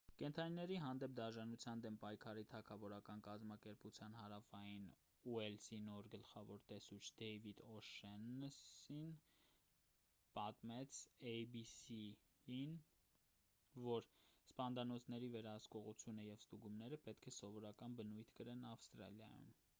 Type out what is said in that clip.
կենդանիների հանդեպ դաժանության դեմ պայքարի թագավորական կազմակերպության հարավային ուելսի նոր գլխավոր տեսուչ դեյվիդ օ'շեննըսին պատմեց էյ-բի-սի-ին որ սպանդանոցների վերահսկողությունը և ստուգումները պետք է սովորական բնույթ կրեն ավստրալիայում